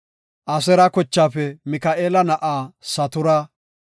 Aseera kochaafe Mika7eela na7aa Satura;